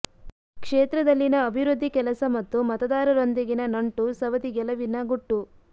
ಕ್ಷೇತ್ರದಲ್ಲಿನ ಅಭಿವೃದ್ಧಿ ಕೆಲಸ ಮತ್ತು ಮತದಾರರೊಂದಿಗಿನ ನಂಟು ಸವದಿ ಗೆಲುವಿನ ಗುಟ್ಟು